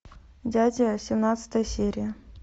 дядя семнадцатая серия